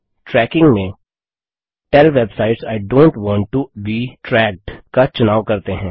trekking में tell websites I do not want to be tracked का चुनाव करते हैं